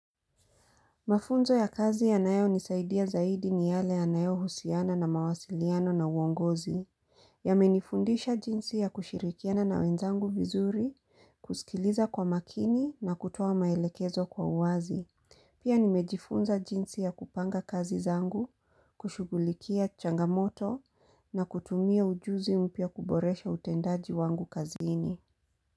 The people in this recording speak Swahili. Mafunzo ya kazi ya nayo nisaidia zaidi ni yale ya nayo husiana na mawasiliano na uongozi. Ya menifundisha jinsi ya kushirikiana na wenzangu vizuri, kusikiliza kwa makini na kutoa maelekezo kwa uwazi. Pia nimejifunza jinsi ya kupanga kazi zangu, kushugulikia changamoto na kutumia ujuzi mpya kuboresha utendaji wangu kazini.